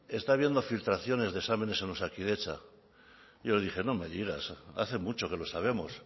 está habiendo filtraciones de exámenes en osakidetza y yo le dije no me digas hace mucho que lo sabemos